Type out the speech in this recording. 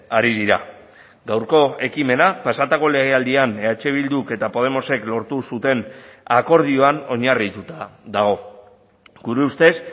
ari dira gaurko ekimena pasatako legealdian eh bilduk eta podemosek lortu zuten akordioan oinarrituta dago gure ustez